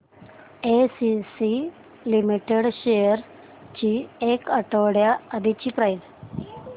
ACC limited shares ची एक आठवड्या आधीची प्राइस